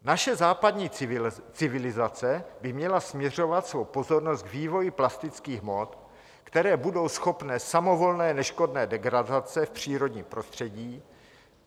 Naše západní civilizace by měla směřovat svou pozornost k vývoji plastických hmot, které budou schopny samovolné neškodné degradace v přírodním prostředí.